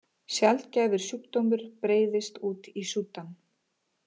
Sjaldgæfur sjúkdómur breiðist út í Súdan